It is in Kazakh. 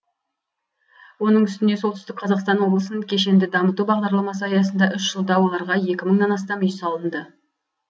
оның үстіне солтүстік қазақстан облысын кешенді дамыту бағдарламасы аясында үш жылда оларға екі мыңнан астам үй салынды